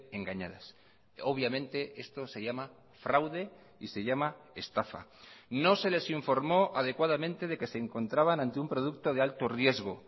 engañadas obviamente esto se llama fraude y se llama estafa no se les informó adecuadamente de que se encontraban ante un producto de alto riesgo